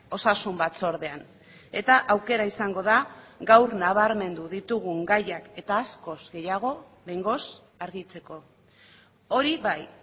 osasun batzordean eta aukera izango da gaur nabarmendu ditugun gaiak eta askoz gehiago behingoz argitzeko hori bai